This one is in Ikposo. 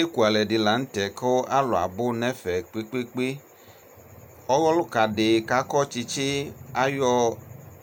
Ekʋ alɛdi lanʋ tɛ kʋ alʋ abʋ nʋ ɛfɛ kpekpekpe ɔlʋka di kʋ akɔ tsitsi ayɔ